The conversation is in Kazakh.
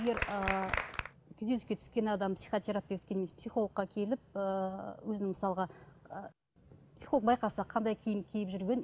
егер ы күйзеліске түскен адам психотерапевтке немесе психологқа келіп ыыы өзін мысалға ы психолог байқаса қандай киім киіп жүргенін